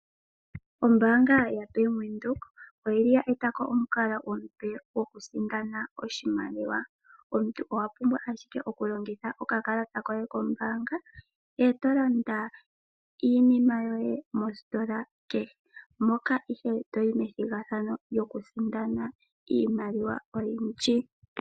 Ombaanga ya Bank Windhoek oyi li ya etako omukalo omupe goku sindana oshimaliwa. Omuntu owa pumbwa ashike oku longitha oka kalata koye kombaanga e to landa iinima yoye mositola kehe. Moka ihe toyi methigathano lyo ku sindana iimaliwa oyindji.